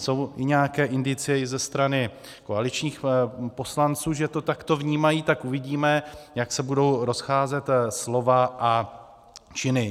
Jsou nějaké indicie i ze strany koaličních poslanců, že to takto vnímají, tak uvidíme, jak se budou rozcházet slova a činy.